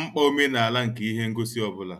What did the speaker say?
mkpa omenala nke ihe ngosi ọ bụla.